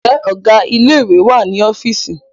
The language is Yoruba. Ǹjẹ́ Ọ̀gá ilé ìwé wà ní ọ́fíìsì?